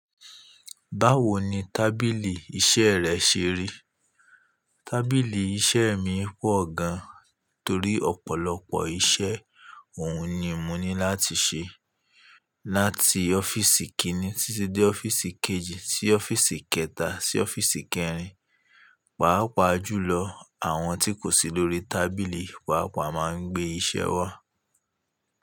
Báwo ni tábìlì iṣẹ́ rẹ ṣe rí? Tábìlì iṣẹ́ mi pọ̀ gan, torí ọ̀pọ̀lọpọ̀ iṣẹ́ òun ni mo ní láti ṣe. Láti ọ́fíìsì kíni títí dé ọ́fíìsì kejì, sí ọ́fíìsì kẹta, sí ọ́fíìsì kẹrin. Pàápàá jùlọ, àwọn tí kò sí lórí tábìlì, pàápàá máa ń gbé iṣẹ́ wá.